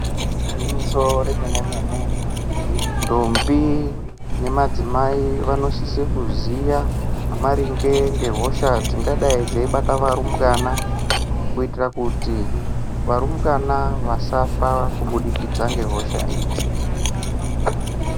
Igwinyiso remene mene ndombi nemadzimai vanosise kuziya maringe ngehosha dzingadai dzeibata varumbwana kuitira kuti varumbwana vasafa kubudikidza ngehosha idzi.